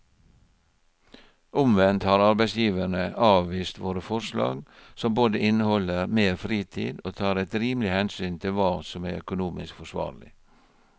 Omvendt har arbeidsgiverne avvist våre forslag som både inneholder mer fritid og tar et rimelig hensyn til hva som er økonomisk forsvarlig.